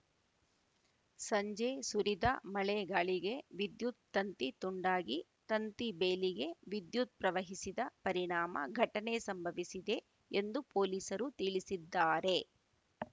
ಸಂಜೆ ಸುರಿದ ಮಳೆಗಾಳಿಗೆ ವಿದ್ಯುತ್‌ ತಂತಿ ತುಂಡಾಗಿ ತಂತಿ ಬೇಲಿಗೆ ವಿದ್ಯುತ್‌ ಪ್ರವಹಿಸಿದ ಪರಿಣಾಮ ಘಟನೆ ಸಂಭವಿಸಿದೆ ಎಂದು ಪೊಲೀಸರು ತಿಳಿಸಿದ್ದಾರೆ